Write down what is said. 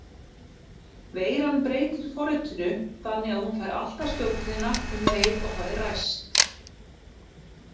Veiran breytir forritinu þannig að hún fær alltaf stjórnina um leið og það er ræst.